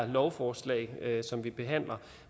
lovforslag som vi behandler